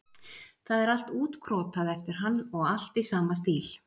Það er allt útkrotað eftir hann og allt í sama stíl.